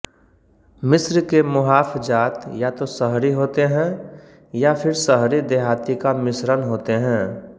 मिस्र के मुहाफ़ज़ात या तो शहरी होते हैं या फिर शहरीदेहाती का मिश्रण होते हैं